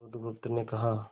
बुधगुप्त ने कहा